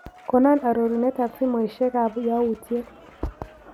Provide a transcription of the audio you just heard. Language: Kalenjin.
Konon arorunetap simoiisiekap yawuutyet